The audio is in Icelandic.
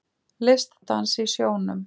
Listdans í sjónum